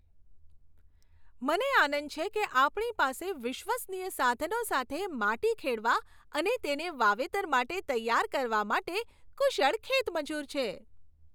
મને આનંદ છે કે આપણી પાસે વિશ્વસનીય સાધનો સાથે માટી ખેડવા અને તેને વાવેતર માટે તૈયાર કરવા માટે કુશળ ખેતમજૂર છે.